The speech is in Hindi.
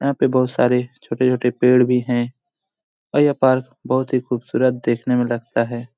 यहाँ पे बहुत सारे छोटे-छोटे पेड़ भी है और यह पार्क बहुत ही खूबसूरत देखने मे लगता है।